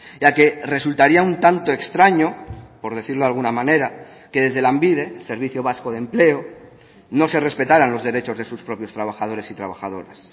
ya que resultaría un tanto extraño por decirlo de alguna manera que desde lanbide servicio vasco de empleo no se respetaran los derechos de sus propios trabajadores y trabajadoras